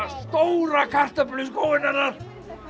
stóra kartöflu í skóinn hennar